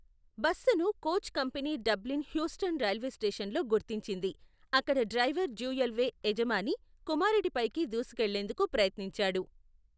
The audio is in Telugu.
బస్సును coach company Dublin Houston railway స్టేషన్లో గుర్తించింది, అక్కడ డ్రైవర్ డ్యూయల్వే యజమాని కుమారుడిపైకి దూసుకెళ్లేందుకు ప్రయత్నించాడు.